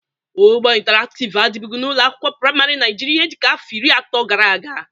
Ụgbọ ịntarakịv adịbụgị n'ụlọ akwụkwọ prịmarị Naịjịrịa ihe dịka afọ iri atọ gara aga.